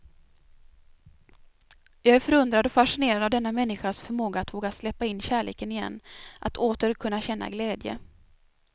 Jag är förundrad och fascinerad av denna människans förmåga att våga släppa in kärleken igen, att åter kunna känna glädje.